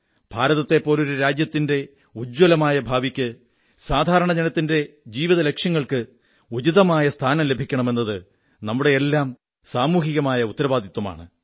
ഭാരത്തെപ്പോലൊരു രാജ്യത്തിന്റെ ഉജ്ജ്വലമായ ഭാവിക്ക് സാധാരണജനത്തിന്റെ ജീവിതലക്ഷ്യങ്ങൾക്ക് ഉചിതമായ സ്ഥാനം ലഭിക്കണം എന്നത് നമ്മുടെയെല്ലാം സാമൂഹികമായ ഉത്തരവാദിത്വമാണ്